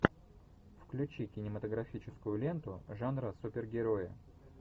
включи кинематографическую ленту жанра супергерои